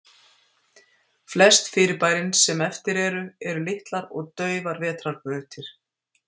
Flest fyrirbærin sem eftir eru, eru litlar og daufar vetrarbrautir.